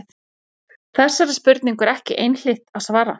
Þessari spurningu er ekki einhlítt að svara.